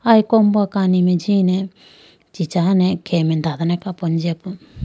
aye kombo kani mai jine chichane khege mai dadane kapo ne jiye po.